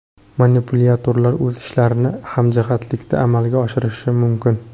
Manipulyatorlar o‘z ishlarini hamjihatlikda amalga oshirishi mumkin.